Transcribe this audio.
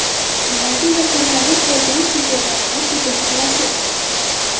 Nimaga yakunlanib bo‘lgan chempionatga hujum qilasiz?